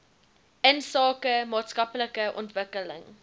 insake maatskaplike ontwikkeling